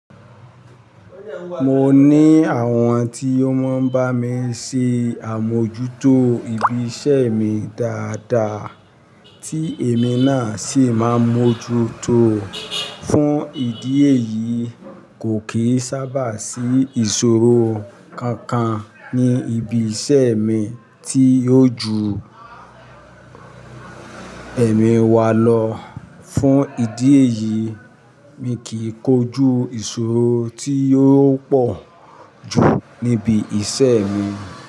Mo ní àwọn tí ó máa ń bá mi ṣe àmójútó ibi iṣẹ́ mi dáadáa tí èmi náà sì máa mójútó fún ìdí èyí kò kìí sábà sí ìṣòro kankan ní ibi iṣẹ́ mi tí yóò ju èmi wá lọ. Fún ìdí èyí mi kì í kojú ìṣòro tí yóò pọ̀ ju níbi iṣẹ́ mi.